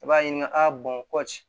I b'a ɲininka aa kɔci